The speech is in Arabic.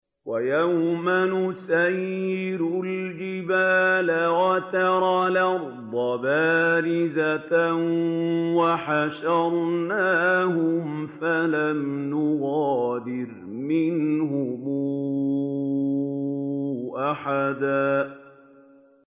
وَيَوْمَ نُسَيِّرُ الْجِبَالَ وَتَرَى الْأَرْضَ بَارِزَةً وَحَشَرْنَاهُمْ فَلَمْ نُغَادِرْ مِنْهُمْ أَحَدًا